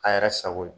A yɛrɛ sago ye